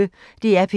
DR P1